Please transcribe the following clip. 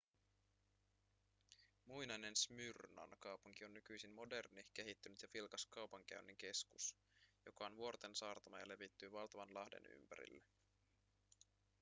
muinainen smyrnan kaupunki on nykyisin moderni kehittynyt ja vilkas kaupankäynnin keskus joka on vuorten saartama ja levittyy valtavan lahden ympärille